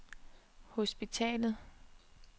hospitalet